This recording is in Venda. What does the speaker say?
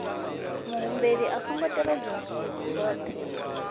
muhumbeli a songo tevhedza zwohe